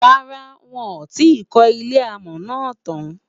rárá, wón tí kò ilé amò nà tán